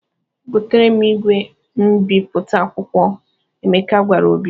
"Goteere m igwe mbipụta akwụkwọ," Emeka gwara Obi.